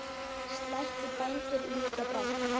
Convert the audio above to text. Slætti bændur ljúka brátt.